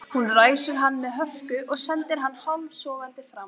Hún ræsir hann með hörku og sendir hann hálfsofandi fram.